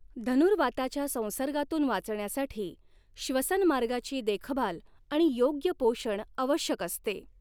धनुर्वाताच्या संसर्गातून वाचण्यासाठी, श्वसनमार्गाची देखभाल आणि योग्य पोषण आवश्यक असते.